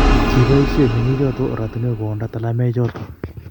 kiboisie meng'ichoto ortinwekwach koonda talamoichoto